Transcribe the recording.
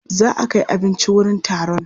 Za a kai abinci wurin taron.